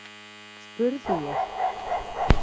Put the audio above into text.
spurði ég.